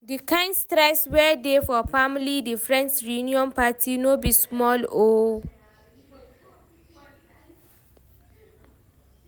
di kind stress wey dey for planning the friends reuion party no be small o